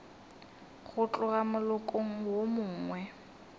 go tloga molokong wo mongwe